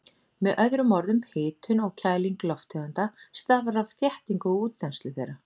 Með öðrum orðum, hitun og kæling lofttegunda stafar af þéttingu og útþenslu þeirra.